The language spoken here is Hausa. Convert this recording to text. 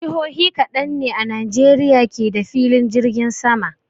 Jihohi kaɗan ne a Najeriya ke da filin jirgin sama.